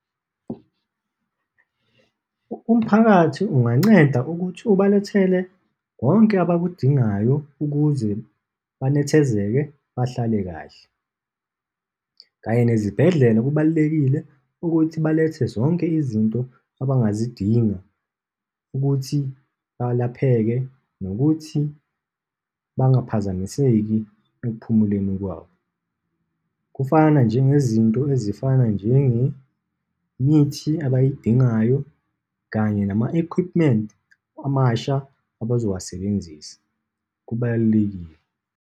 Umphakathi unganceda ukuthi ubalethele konke abakudingayo ukuze benethezekile, bahlale kahle. Kanye nezibhedlela, kubalulekile ukuthi balethe zonke izinto abangazidinga ukuthi balapheke, nokuthi bangaphazamiseki ekuphumuleni kwabo. Kufana njengezinto ezifana njengemithi abayidingayo kanye nama-equipment amasha abazowasebenzisa. Kubalulekile.